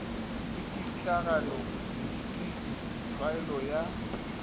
le pitlagano bodidil tlhaelo ya